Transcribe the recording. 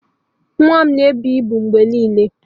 Nwa m na-ebu ibu mgbe niile.